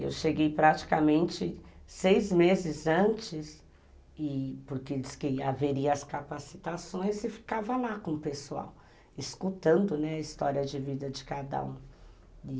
Eu cheguei praticamente seis meses antes e porque dizem que haveria as capacitações, e ficava lá com o pessoal, escutando, né, a história de vida de cada um.